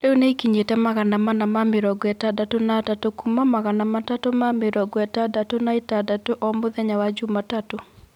rĩu nĩikinyĩte magana mana na mĩrongo ĩtandatũ na atatũ kuuma magana matatũ na mĩrongo ĩtandatũ na ĩtandatũ o mũthenya wa Jumatatu.